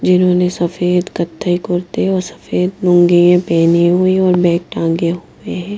जिन्होंने सफेद कत्थे कुर्ते और सफेद नुंगि पहनी हुई और बैग टांगे हुए है।